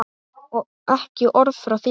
Og ekki orð frá þér!